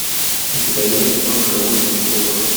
у тебя есть кино голливудские копы